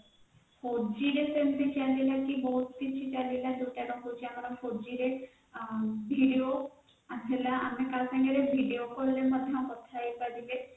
four g ସେମିତି changes ଥିବ data ତା ହଉଛି ଆମର ଥିଲା ଆମେ କାହାସାଙ୍ଗରେ ଭିଡିଓ call ରେ ମଧ୍ୟ କଥା ହେଇପାରିବା